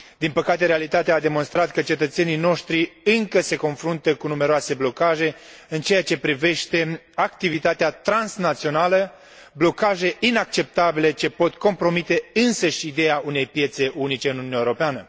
Din păcate, realitatea a demonstrat că cetățenii noștri încă se confruntă cu numeroase blocaje în ceea ce privește activitatea transnațională, blocaje inacceptabile, ce pot compromite însăși ideea unei piețe unice în Uniunea Europeană.